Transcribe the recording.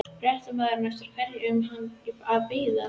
Fréttamaður: Eftir hverju eru menn að bíða?